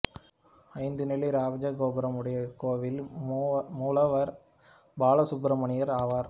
ஐந்து நிலை ராஜகோபுரம் உடைய இக்கோவிலில் மூலவர் பாலசுப்பிரமணியர் ஆவர்